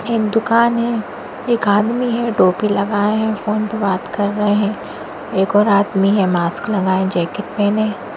एक दुकान हैं एक आदमी है टोपी लगाए हैं फोन पे बात कर रहे हैं एक और आदमी है मास्क लगाए जैकेट पहने।